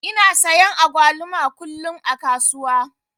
Ina sayan agwaluma kullum a kasuwa.